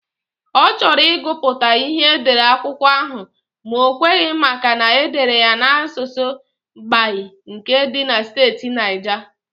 Ọ chọrọ ịgụ pụta ịhe edere akwụkwọ ahụ ma o kweghị maka na edere ya n'asụsụ Gbagyi nke dị na steeti Naija.